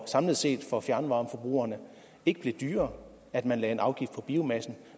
samlet set for fjernvarmeforbrugerne ikke blev dyrere at man lagde en afgift på biomassen